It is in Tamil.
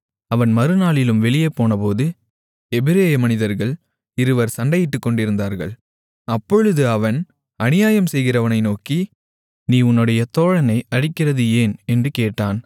அவன் மறுநாளிலும் வெளியே போனபோது எபிரெய மனிதர்கள் இருவர் சண்டையிட்டுக்கொண்டிருந்தார்கள் அப்பொழுது அவன் அநியாயம் செய்கிறவனை நோக்கி நீ உன்னுடைய தோழனை அடிக்கிறது ஏன் என்று கேட்டான்